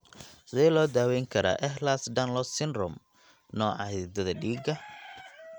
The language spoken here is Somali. Sidee loo daweyn karaa Ehlers Danlos syndrome, nooca xididdada dhiigga?